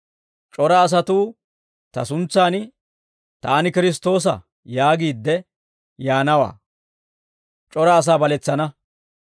C'ora asatuu ta suntsan, «Taani Kiristtoosa» yaagiidde yaanawaa; c'ora asaa baletsana.